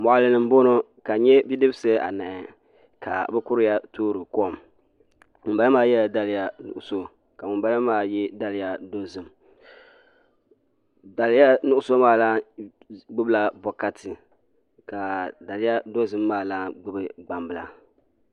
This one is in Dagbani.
Moɣali ni n boŋo ka n nyɛ bidibsi anahi ka bi kuriya toori kom ŋunbala maa yɛla daliya nuɣso ka ŋunbala maa yɛ daliya dozim daliya nuɣso maa lani gbubila bokati ka daliya dozim maa lan gbubi gbambila